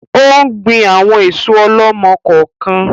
Ò ń gbìn àwọn èso ọ̀lọ́mọ-kọọ-kan